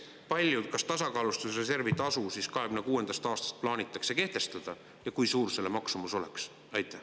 Teiseks, kas tasakaalustusreservi tasu siis 2026. aastast plaanitakse kehtestada ja kui suur selle maksumus oleks?